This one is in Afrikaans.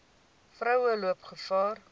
vroue loop gevaar